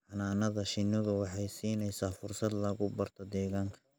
Xannaanada shinnidu waxay siinaysaa fursad lagu barto deegaanka.